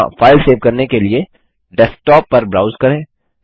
यहाँ file save करने के डेस्कटॉप पर ब्राउज़ करें